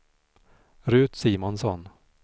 Ruth Simonsson